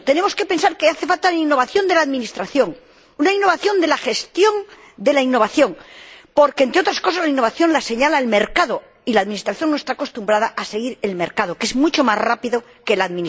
En segundo lugar, tenemos que pensar que es necesaria la innovación de la administración, la innovación de la gestión de la innovación, porque, entre otras cosas, la innovación la señala el mercado, y la administración no está acostumbrada a seguir al mercado, que es mucho más rápido que ella.